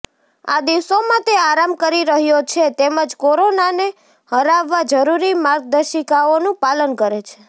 આ દિવસોમાં તે આરામ કરી રહ્યો છે તેમજ કોરોનાને હરાવવા જરૂરી માર્ગદર્શિકાઓનું પાલન કરે છે